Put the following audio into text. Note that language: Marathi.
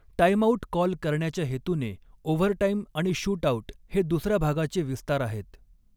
टाईमआऊट कॉल करण्याच्या हेतूने, ओव्हरटाइम आणि शूटआउट हे दुसऱ्या भागाचे विस्तार आहेत.